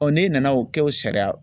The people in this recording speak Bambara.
n'e nana o kɛ o sariya